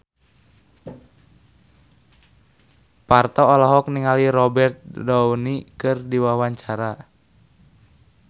Parto olohok ningali Robert Downey keur diwawancara